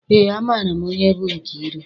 Eé, amaara m onye bụ Nkeiru.